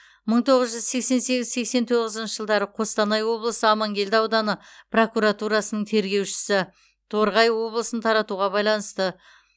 мың тоғыз жүз сексен сегіз сексен тоғызыншы жылдары қостанай облысы амангелді ауданы прокуратурасының тергеушісі торғай облысын таратуға байланысты